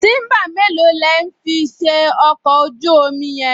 Tíḿbà mélòó lẹ̀ ń fi ṣe ọkọ̀ ojú-omi yẹn?